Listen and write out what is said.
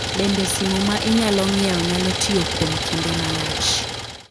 Bende simu ma inyalo ng’iewo nyalo tiyo kuom kinde malach?